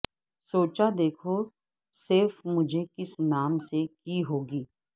سوچا دیکھوں سیف مجھے کس نام سے کی ہوگی